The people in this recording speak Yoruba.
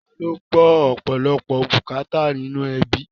Taa ló ń gbọ́ ọ̀pọ̀lọpọ̀ bùkátà nínú ẹbí?